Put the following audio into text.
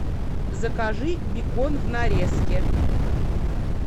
закажи бекон в нарезке